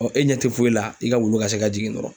e ɲɛ tɛ foyi la, i ka wulu ka se ka jigin dɔrɔnw.